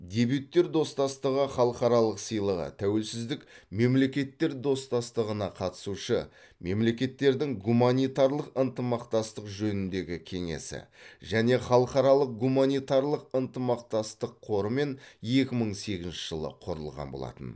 дебюттер достастығы халықаралық сыйлығы тәуелсіз мемлекеттер достастығына қатысушы мемлекеттердің гуманитарлық ынтымақтастық жөніндегі кеңесі және халықаралық гуманитарлық ынтымақтастық қорымен екі мың сегізінші жылы құрылған болатын